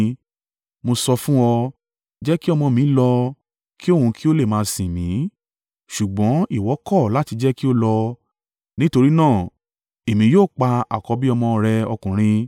mo sọ fún ọ, “Jẹ́ kí ọmọ mi lọ, ki òun kí ó lè máa sìn mí.” Ṣùgbọ́n ìwọ kọ̀ láti jẹ́ kí ó lọ; nítorí náà, èmi yóò pa àkọ́bí ọmọ rẹ ọkùnrin.’ ”